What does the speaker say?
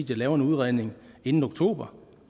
laver en udredning inden oktober